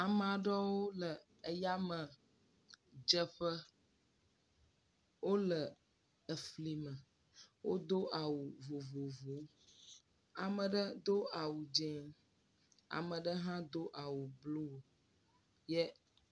Ame aɖewo le eyamedzeƒe, wole efli me wodo awu vovovowo , ame aɖe do awu dzɛ̃, ame aɖe hã do awu bluu ye.